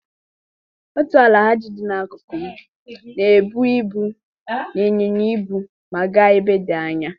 Otu Alhaji dị n'akụkụ m na-ebubu ibu na ịnyịnya ibu ma gaa ebe dị anya.